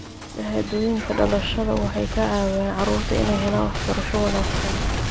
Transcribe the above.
Shahaadooyinka dhalashada waxay ka caawiyaan carruurta inay helaan waxbarasho wanaagsan.